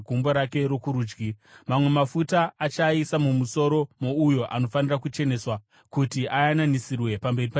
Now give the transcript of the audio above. Mamwe mafuta ose achasara muchanza muprista achaaisa mumusoro mouyo anofanira kucheneswa, kuti ayananisirwe pamberi paJehovha.